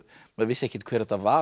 maður vissi ekkert hver þetta var